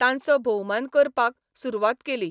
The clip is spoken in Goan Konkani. तांचो भोवमान करपाक सुरवात केली.